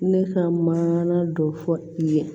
Ne ka maana dɔ fɔ i ye